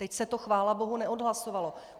Teď se to chvála bohu neodhlasovalo.